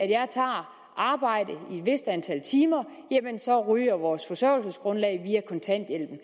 jeg tager arbejde i et vist antal timer så ryger vores forsørgelsesgrundlag via kontanthjælpen